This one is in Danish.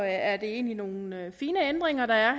er det egentlig nogle nogle fine ændringer der er